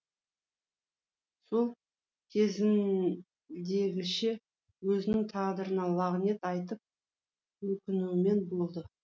сол кезіндегіше өзінің тағдырына лағнет айтып өкінумен болды